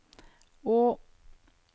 å